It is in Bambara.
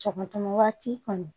Cɔgɔn waati kɔni